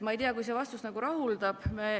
Ma ei tea, kas see vastus rahuldab.